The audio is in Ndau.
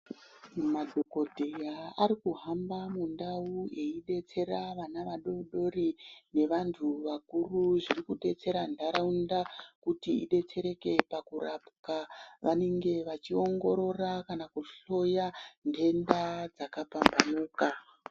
Madhokodheya ari kuhamba mundau eibetsera vana vadori dori ngevantu vakuru. Zviri kudetsera ntaraunda kuti idetsereke pakurapwa. Vanenge vachiongorora kana kuhloya ndenda dzakapambauka.